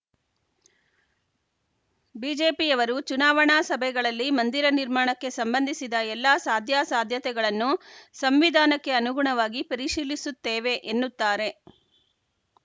ಬಿಜೆಪಿಯವರು ಚುನಾವಣಾ ಸಭೆಗಳಲ್ಲಿ ಮಂದಿರ ನಿರ್ಮಾಣಕ್ಕೆ ಸಂಬಂಧಿಸಿದ ಎಲ್ಲ ಸಾಧ್ಯಾಸಾಧ್ಯತೆಗಳನ್ನು ಸಂವಿಧಾನಕ್ಕೆ ಅನುಗುಣವಾಗಿ ಪರಿಶೀಲಿಸುತ್ತೇವೆ ಎನ್ನುತ್ತಾರೆ